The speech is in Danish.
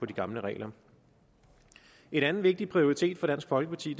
de gamle regler en anden vigtig prioritet for dansk folkeparti